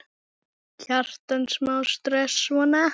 Kjartan: Smá stress, svona?